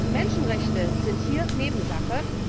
Und Menschenrechte sind hier Nebensache.